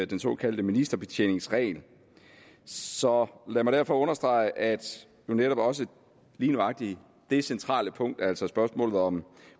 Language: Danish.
den såkaldte ministerbetjeningsregel så lad mig derfor understrege at netop også lige nøjagtig det centrale punkt altså spørgsmålet om